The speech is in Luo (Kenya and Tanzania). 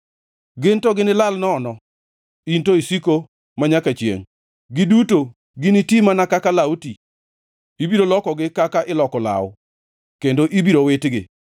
Gin to ginilal nono in to isiko manyaka chiengʼ; giduto giniti mana kaka law ti. Ibiro lokogi kaka iloko law kendo ibiro witgi.